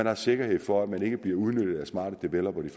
har sikkerhed for at de ikke bliver udnyttet af smarte developere det